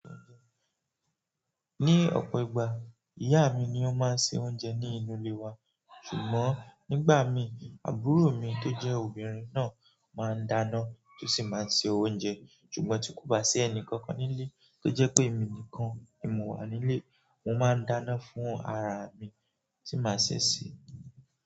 Ní ọ̀pọ̀ ìgbà, ìyá mi ni ó máa ń se oúnjẹ ní inú ilé wa. Ṣùgbọ́n nígbà mí, àbúrò mi tó jẹ́ obìnrin náà máa ń dáná tó sì máa ń se oúnjẹ. Ṣùgbọ́n tí kò bá sí ẹnì kankan nílé tó jẹ́ pé èmi nìkan ni mo wà nílé, mo máa ń dáná fún ara mi tí màá ṣe sè é.